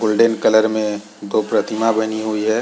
Golden colour में दो प्रतिमा बनी हुई है।